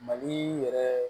Mali yɛrɛ